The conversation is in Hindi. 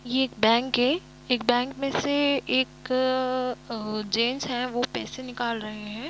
ये एक बैंक हैएक बैंक मे से एक-क जेंट्स है वो पैसे निकाल रहे है।